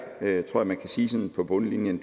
tror man kan sige på bundlinjen